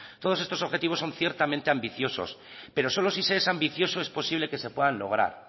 todos estos objetivos son ciertamente ambiciosos pero solo si se es ambicioso es posible que se puedan lograr